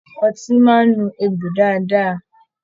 Ọtí máa n nu egbò dáadáa.